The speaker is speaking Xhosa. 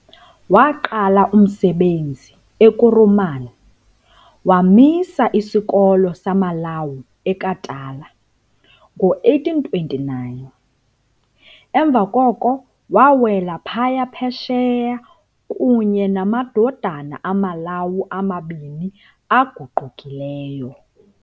Waaqala umsebenzi eKuruman, wamisa isikolo samaLawu eKatala, ngo-1829. emva koko wawela phaya Phesheya kunye namadodana amaLawu amabini aguqukileyo.